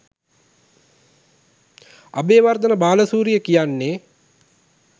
අබේවර්ධන බාලසූරිය කියන්නෙ